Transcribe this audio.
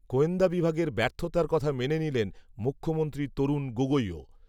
গোয়েন্দা বিভাগের ব্যর্থতার কথা মেনে নিলেন, মুখ্যমন্ত্রী, তরুণ গগৈও